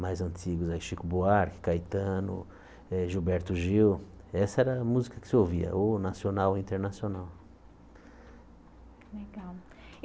mais antigos, aí Chico Buarque, Caetano, eh Gilberto Gil, essa era a música que se ouvia, ou nacional ou internacional. Legal